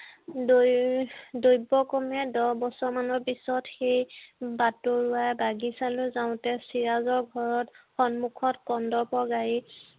দুই দৈব্যক্ৰমে দহ বছৰ মানৰ পিছত সেই বাটৰুৱা বাগিছালৈ যাওতে চিৰাজৰ ঘৰত সন্মুখত কন্দৰ্পৰ গাড়ী